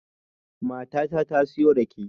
Matata ta siyo rake